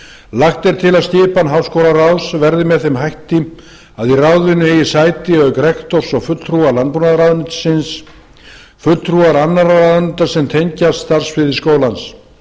lagt er til að skipan háskólaráðs verði með þeim hætti að í ráðinu eigi sæti auk rektors og fulltrúa landbúnaðarráðuneytisins fulltrúa annarra ráðuneyta sem tengjast starfssviði skólans